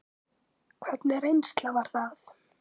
Hvernig reynsla var það?